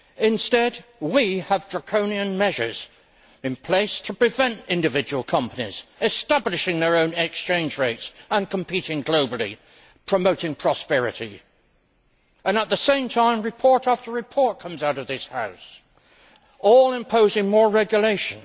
Instead, we have draconian measures in place to prevent individual companies establishing their own exchange rates and competing globally, promoting prosperity. At the same time, report after report comes out of this House, all imposing more regulation.